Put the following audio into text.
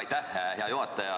Aitäh, hea juhataja!